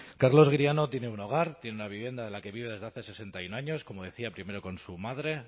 carlos griano tiene un hogar tiene una vivienda en la que vive desde hace sesenta y uno años como decía primero con su madre